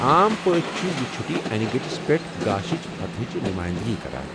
عام پٲٹھۍ چھے٘ یہِ چُھٹی انہِ گٕٹِس پیٹھ گاشِچہِ فتح ہچہِ نُمایندگی کران۔